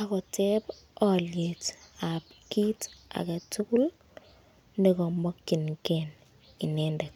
ak koteb olyet ab kit age tugul nekomokinge inendet.